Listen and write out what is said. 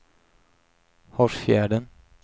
Hårsfjärden